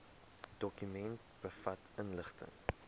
dokument bevat inligting